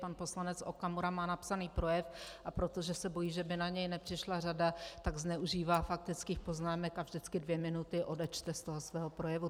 Pan poslanec Okamura má napsaný projev, a protože se bojí, že by na něj nepřišla řada, tak zneužívá faktických poznámek a vždycky dvě minuty odečte z toho svého projevu.